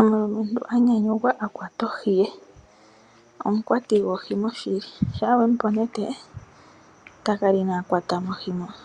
Omulumentu anyanyukwa, akwata ohi ye, omukwati wohi oshili, shampa wemupe onete, itakala inaakwatamo ohi moka,